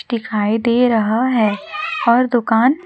दिखाई दे रहा हैं और दुकान--